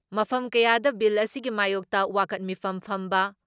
ꯃꯐꯝ ꯀꯌꯥꯗ ꯕꯤꯜ ꯑꯁꯤꯒꯤ ꯃꯥꯌꯣꯛꯇ ꯋꯥꯀꯠ ꯃꯤꯐꯝ ꯐꯝꯕ